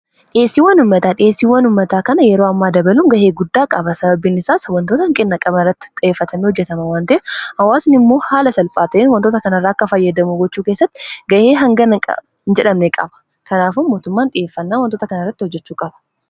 dhiyeessiiwan ummataa dhiyessiiwwan ummataa kana yeroo ammaa dabalun ga'ee guddaa qaba sababiin isaas wantoota hanqina qaban irratti xiyyeeffatamee hojjetama waan ta'eef hawwaasni immoo haala salphaa ta'en wantoota kana irra akka fayyadamu gochuu keessatti ga'e hangana hin jedhamne qaba kanaafuu mootummaan xiyyeeffannaan wantoota kana irratti hojjechuu qaba